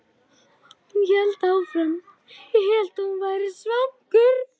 Hún hélt áfram: Ég hélt að þú værir svangur.